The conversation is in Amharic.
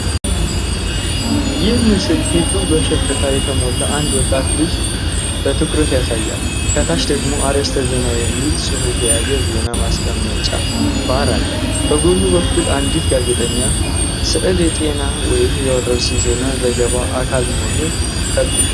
ይህ ምስል ፊቱ በሽፍታ የተሞላ አንድ ወጣት ልጅን በትኩረት ያሳያል። ከታች ደግሞ "አርዕስተ ዜና" የሚል ጽሑፍ የያዘ ዜና ማስቀመጫ ባር አለ። በጎን በኩል አንዲት ጋዜጠኛ ። ሥዕል የጤና ወይም የወረርሽኝ ዜና ዘገባ አካል መሆኑን ይጠቁማል።